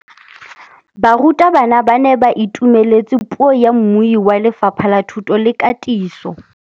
Barutabana ba ne ba itumeletse puô ya mmui wa Lefapha la Thuto le Katiso.